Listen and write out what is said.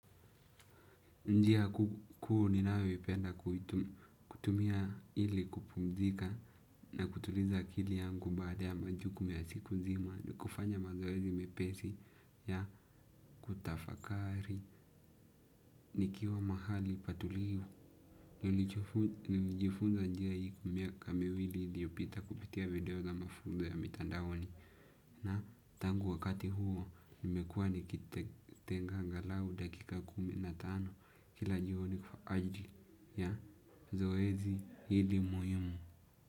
Njia kuu ninayoipenda kutumia ili kupumzika na kutuliza akili yangu baada ya majuku ya siku nzima ni kufanya mazoezi mepesi ya kutafakari, nikiwa mahali patulivu nimejifunza njia hii kwa miaka miwili iliyopita kupitia video za mafunzo ya mitandaoni. Na tangu wakati huo nimekuwa nikitenga angalau dakika kumi na tano kila jioni kwa ajili. Ya zoezi hili muhimu.